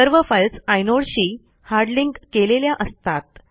सर्व फाईल्स आयनोडशी hard link केलेल्या असतात